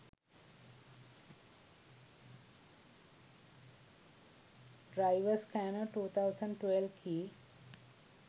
driver scanner 2012 key